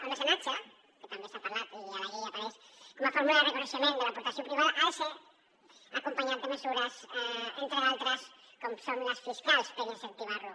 el mecenatge que també se n’ha parlat i a la llei apareix com a fórmula de reconeixement de l’aportació privada ha de ser acompanyat de mesures entre d’altres com són les fiscals per incentivar lo